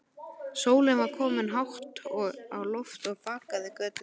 Sólin var komin hátt á loft og bakaði göturnar.